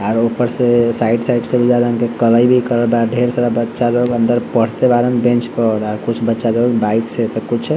और ऊपर से साइड साइड से बुझालन के कढ़ई भी करल बा अ ढेर सारा बच्चा लोग अन्दर पढ़ते बाड़न बेंच पर और कुछ बच्चा लोग बाइक से तो कुछ --